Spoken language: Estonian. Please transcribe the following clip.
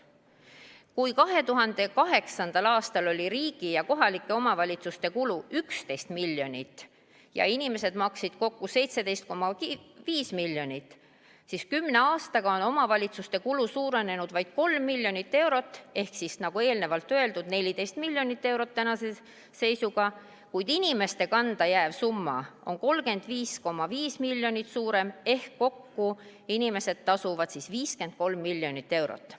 Kui 2008. aastal oli riigi ja kohalike omavalitsuste kulu 11 miljonit ja inimesed maksid kokku 17,5 miljonit, siis 10 aastaga on omavalitsuste kulu suurenenud vaid 3 miljonit eurot ehk siis, nagu eelnevalt öeldud, 14 miljonit eurot, kuid inimeste kanda jääv summa on 35,5 miljonit suurem ehk kokku inimesed tasuvad 53 miljonit eurot.